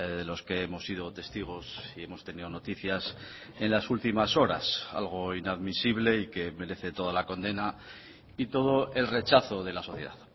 de los que hemos sido testigos y hemos tenido noticias en las últimas horas algo inadmisible y que merece toda la condena y todo el rechazo de la sociedad